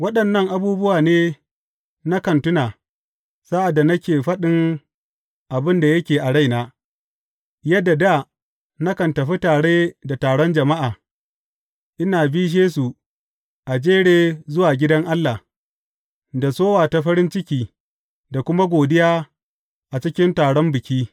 Waɗannan abubuwa ne nakan tuna sa’ad da nake faɗin abin da yake a raina, yadda dā nakan tafi tare da taron jama’a, ina bishe su a jere zuwa gidan Allah, da sowa ta farin ciki da kuma godiya a cikin taron biki.